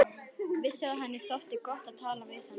Vissi að henni þótti gott að tala við hana.